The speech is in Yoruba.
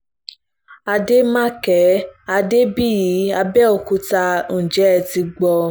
àdèmàkè adébíyí àbẹ̀òkúta ǹjẹ́ ẹ ti gbó